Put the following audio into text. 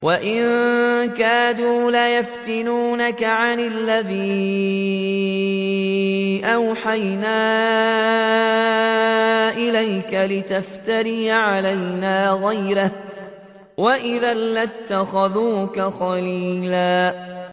وَإِن كَادُوا لَيَفْتِنُونَكَ عَنِ الَّذِي أَوْحَيْنَا إِلَيْكَ لِتَفْتَرِيَ عَلَيْنَا غَيْرَهُ ۖ وَإِذًا لَّاتَّخَذُوكَ خَلِيلًا